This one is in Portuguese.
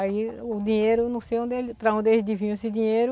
Aí os dinheiro, não sei onde ele, para onde eles desviam esse dinheiro.